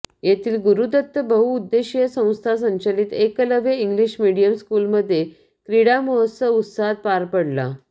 येथील गुरूदत्त बहुद्देशीय संस्था संचलित एकलव्य इंग्लिश मिडीयम स्कुलमध्ये क्रीडा महोत्सव उत्साहात पार पडला